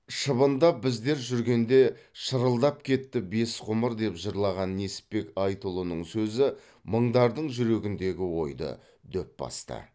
шыбындап біздер жүргенде шырылдап кетті бес ғұмыр деп жырлаған несіпбек айтұлының сөзі мыңдардың жүрегіндегі ойды дөп басты